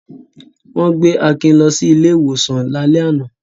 Wọ́n gbé Akin lọ sí ilé-ìwòsàn lálẹ́ àná.